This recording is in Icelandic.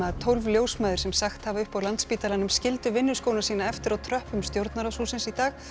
tólf ljósmæður sem sagt hafa upp á Landspítalanum skildu sína eftir á tröppum stjórnarráðshússins í dag